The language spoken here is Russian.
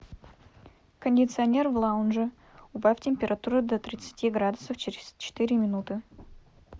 кондиционер в лаунже убавь температуру до тридцати градусов через четыре минуты